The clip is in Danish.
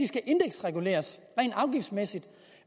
skal indeksreguleres rent afgiftsmæssigt